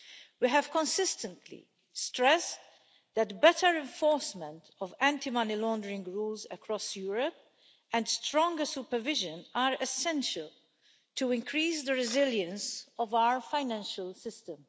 We have consistently stressed that better enforcement of anti money laundering rules across Europe and stronger supervision are essential to increase the resilience of our financial system.